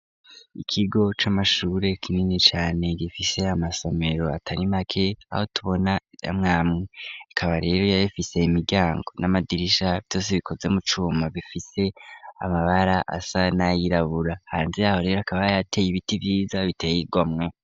ikigo c'amashure kinini cyane gifise amasomero atarimake aho tubona yamwamwe kaba rero yabifise imiryango n'amadirisha byose bikoze mu cuma bifise amabara asa nayirabura hanze aho rero akaba yateye ibiti byiza biteye igomwe